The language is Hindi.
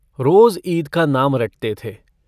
रोज ईद का नाम रटते थे।